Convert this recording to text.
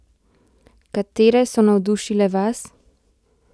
Katere so navdušile vas?